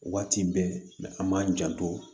Waati bɛɛ an b'an janto